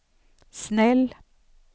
snäll